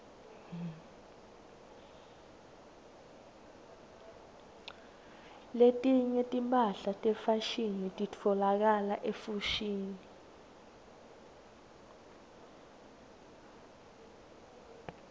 letinye timphahla tefashini titfolakala efoshini